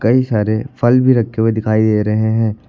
कई सारे फल भी रखे हुए दिखाई दे रहे हैं।